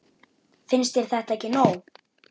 Finnst þér þetta ekki nóg?